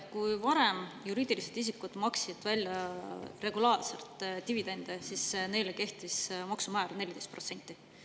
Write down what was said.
Kui varem maksid juriidilised isikud regulaarselt välja dividende, siis neile kehtis maksumäär 14%.